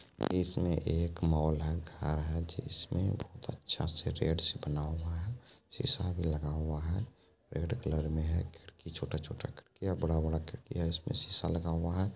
इसमें एक मॉल है घर है जिसमे अच्छा से रेड से बना हुआ है सीसा भी लगा हुआ है रेड कलर में है खिड़की छोटा-छोटा खिड़की है बड़ा-बड़ा खिड़की है इसमें सीसा लगा हुआ है।